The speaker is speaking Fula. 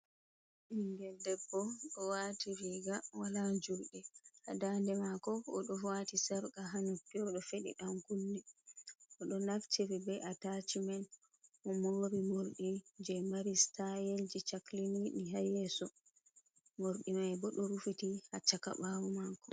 Ɓingel debbo ɗo wati riga wala juɗe ha dande mako o ɗo wati sarka ha nuppi oɗo feɗi ɗankunne oɗo naftiri be a tachimen o mori morɗi je mari stayelji cakliniɗi ha yeso, mordi mai bo ɗo rufiti ha ccaka bawo mako.